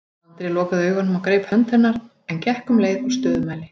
Andri lokaði augunum og greip hönd hennar en gekk um leið á stöðumæli.